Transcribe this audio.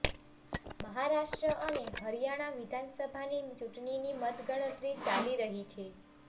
મહારાષ્ટ્ર અને હરિયાણા વિધાનસભાની ચૂંટણીની મતગણતરી ચાલી રહી છે